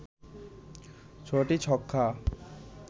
৬টি ছক্কা